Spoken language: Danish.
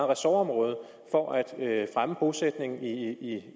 ressortområde for at fremme bosætningen i